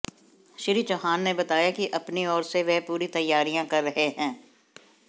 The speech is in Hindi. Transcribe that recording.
श्री चौहान ने बताया कि अपनी ओर से वह पूरी तैयारियां कर रहे हैं